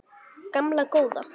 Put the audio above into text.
Gamla góða